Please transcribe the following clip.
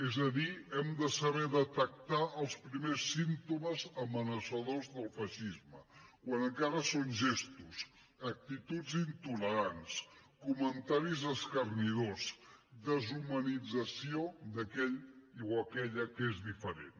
és a dir hem de saber detectar els primers símptomes amenaçadors del feixisme quan encara són gestos actituds intolerants comentaris escarnidors deshumanització d’aquell o aquella que és diferent